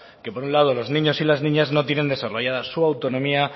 que por un lado los niños y las niñas no tienen desarrollada su autonomía